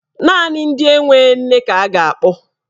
Naanị ndị enwe nne ka a ga-akpọ.